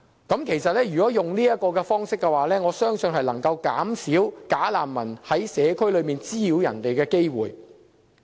我相信這個方式能夠減少"假難民"在社區滋擾市民的機會。